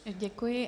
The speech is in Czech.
Děkuji.